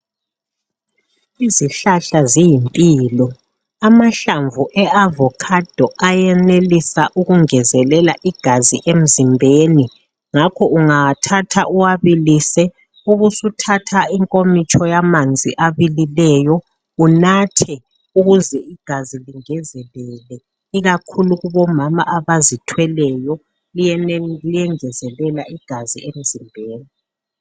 Izihlahla ziyimpilo , amahlamvu e avocado ayenelisa ukungezelela igazi emzimbeni ngakho ungawathatha uwabilise ubusuthatha inkomitsho yamanzi abilileyo unathe ukuze igazi lingezeleke ikakhulu omama abazithweleyo liyengezela igazi emzimbeni